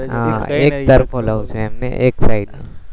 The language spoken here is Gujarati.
હા એક તરફો લવ છે એમ ને એક સાઈડ નો